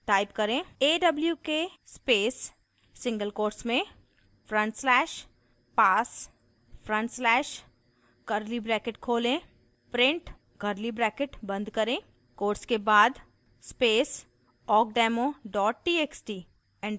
type करें: